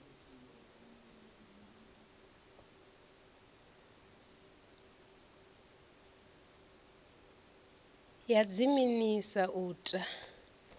ya dziminis a u ta